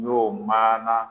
Ɲ'o maana